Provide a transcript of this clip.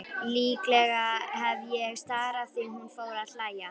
Líklega hef ég starað því hún fór að hlæja.